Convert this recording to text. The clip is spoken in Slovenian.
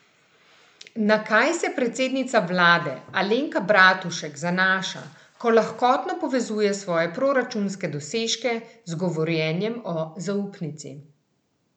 Na kaj se predsednica vlade Alenka Bratušek zanaša, ko lahkotno povezuje svoje proračunske dosežke z govorjenjem o zaupnici?